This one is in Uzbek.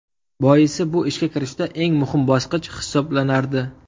Boisi bu ishga kirishda eng muhim bosqich hisoblanardi.